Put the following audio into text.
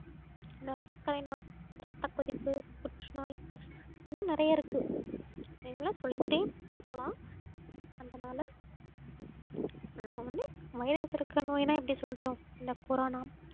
சர்க்கரை நோய், ரத்தக் கொதிப்பு, புற்றுநோய் இன்னும் நிறைய இருக்கு எல்லாம் சொல்லிக்கிட்டே போகலாம் அதனால நாம வந்து virus இருக்கிற நோய்ன்னா எப்படி சொல்லட்டும் இந்த corona